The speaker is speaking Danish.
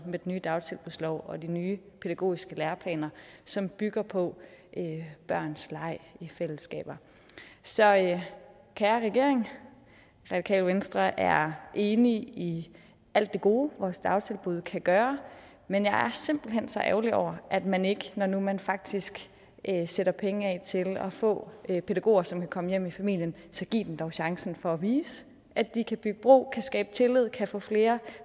med den nye dagtilbudslov og de nye pædagogiske læreplaner som bygger på børns leg i fællesskaber så kære regering radikale venstre er enig i alt det gode vores dagtilbud kan gøre men jeg er simpelt hen så ærgerlig over at man ikke når nu man faktisk sætter penge af til at få pædagoger som kan komme hjem i familien giver dem chancen for at vise at de kan bygge bro og skabe tillid og kan få flere